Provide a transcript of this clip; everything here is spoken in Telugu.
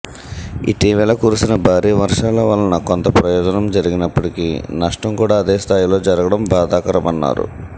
ఇటీవల కురిసిన భారీ వర్షాల వలన కొంత ప్రయోజనం జరిగినప్పటికీ నష్టం కూడా అదే స్థాయిలో జరగటం బాధాకరమన్నారు